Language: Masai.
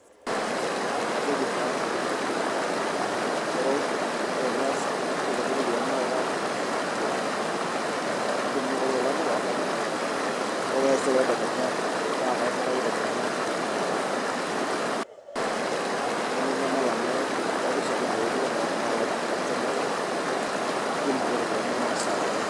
Kajoki naa, ero ore enias amu kekuti iropiyani naata taata, ee tudumu kuloolan yawa ore taisere tedekenya naa kaiputa iropiyani inono naang'or, neminyal amuu katii oshiake ene weji ore oshiake oltung'ani lai olkastomai lai neeku itum ake iropiyani inono esaa pooki.